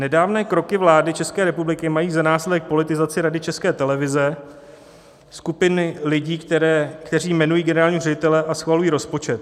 Nedávné kroky vlády České republiky mají za následek politizaci Rady České televize, skupiny lidí, kteří jmenují generálního ředitele a schvalují rozpočet.